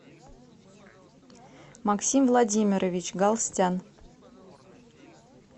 максим владимирович галстян